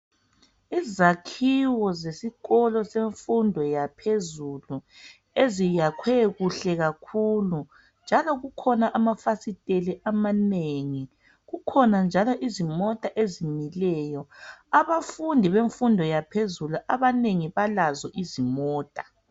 Izakhiwo zesikolo semfundo yaphezulu . Eziyakhwe kuhle kakhulu, njalo kukhona amafasitela amanengi kukhona njalo izimota ezimileyo. Abafundi bemfundo yaphezulu abanengi balazo izimota.